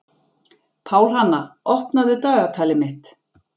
Pálhanna, opnaðu dagatalið mitt.